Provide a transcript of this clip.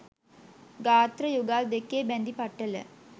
ගාත්‍ර යුගල් දෙකේ බැඳි පටල